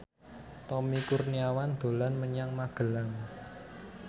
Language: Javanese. Tommy Kurniawan dolan menyang Magelang